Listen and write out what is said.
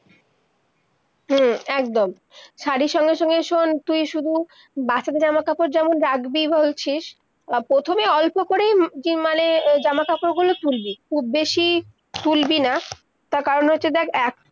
হম একদম, শাড়ির সঙ্গে-সঙ্গে শুন তুই শুধু বাচ্চাদের জামা-কাপড় যেমন রাখবি বলছিস, আর প্রথমে অল্প করেই ম-জি-মালে জামা-কাপড় গুলি তুলবি, খুব বেশি, তুলবি না, তার কারণ হচ্ছে দেখ-